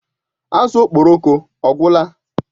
Azụ Okporoko ọ gwụla?